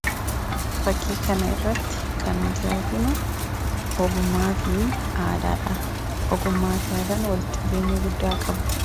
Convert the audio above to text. Fakkii kana irratti kan nuti arginu ogummaa fi aadaa dha. Ogummaa fi aadaan walitti dhufeenya guddaa qabu.